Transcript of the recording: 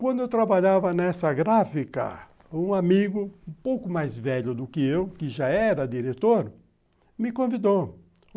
Quando eu trabalhava nessa gráfica, um amigo, um pouco mais velho do que eu, que já era diretor, me convidou.